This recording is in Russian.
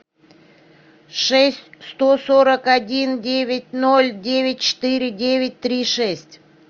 шесть сто сорок один девять ноль девять четыре девять три шесть